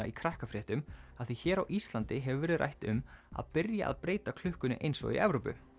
í Krakkafréttunum af því hér á Íslandi hefur verið rætt um að byrja að breyta klukkunni eins og í Evrópu